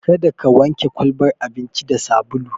Kada ka wanke kwalbar abincin da sabulu!